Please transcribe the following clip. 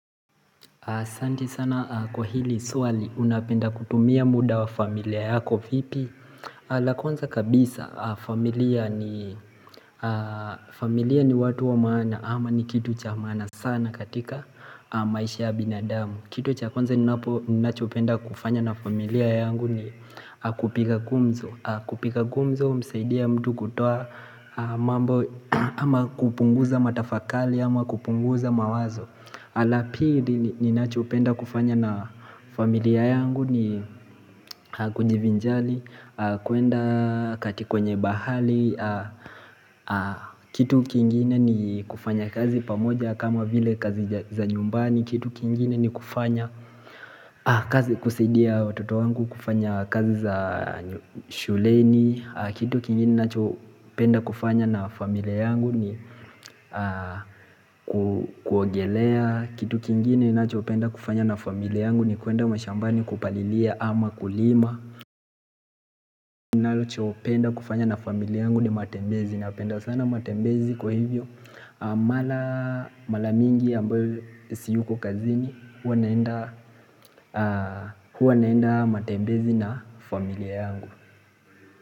aSanti sana kwa hili swali unapenda kutumia muda wa familia yako vipi la kwanza kabisa familia ni watu wa maana ama ni kitu cha maana sana katika maisha ya binadamu Kitu cha kwanza ninapo ninachopenda kufanya na familia yangu ni kupika gumzo kupika gumzo umsaidia mtu kutoa mambo ama kupunguza matafakali ama kupunguza mawazo la pili ni nacho penda kufanya na familia yangu ni kunjivinjali kuenda katikwenye bahali Kitu kingine ni kufanya kazi pamoja kama vile kazi za nyumbani Kitu kingine ni kufanya kazi kusaidia watoto wangu kufanya kazi za shuleni Kitu kingine nacho penda kufanya na familia yangu ni kuogelea Kitu kingine ninachopenda kufanya na familia yangu ni kuenda mashambani kupalilia ama kulima ninachopenda kufanya na familia yangu ni matembezi napenda sana matembezi kwa hivyo Mala mingi ambayo siyuko kazini Huwa naenda matembezi na familia yangu.